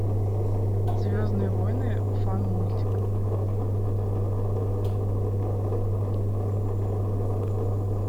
звездные войны фан мультик